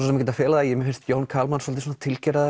ekkert að fela það mér finnst Jón Kalman svolítið svona